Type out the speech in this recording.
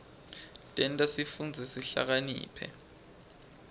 tenta sifundze sihlakaniphe